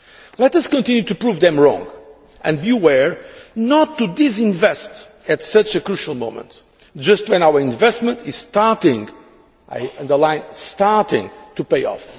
Let us continue to prove them wrong, and take care not to disinvest at such a crucial moment, just when our investment is starting and I underline starting to pay off.